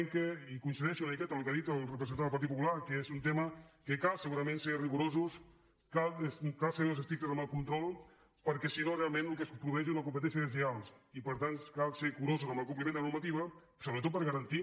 i coincideixo una miqueta amb el que ha dit el representant del partit popular que és un tema en què cal segurament ser rigorosos cal ser estrictes amb el control perquè si no realment el que es produeix és una competència deslleial i per tant cal ser curosos amb el compliment de la normativa sobretot per garantir